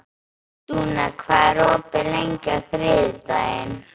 Dúna, hvað er opið lengi á þriðjudaginn?